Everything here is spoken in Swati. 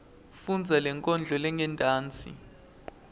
fundza lenkondlo lengentasi